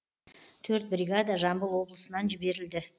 төрт бригада жамбыл облысынан жіберілді